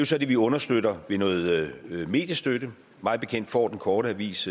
så det vi understøtter med noget mediestøtte mig bekendt får den korte avis